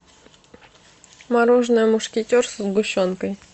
мороженое мушкетер со сгущенкой